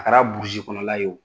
A kɛra burusi kɔnɔla ye